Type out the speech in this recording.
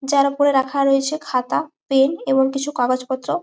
যার উপরে রাখা রয়েছে খাতা পেন এবং কিছু কাগজ পোর্তো।